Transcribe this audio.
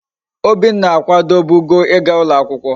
Obinna akwadobugo íga ulo akwukwo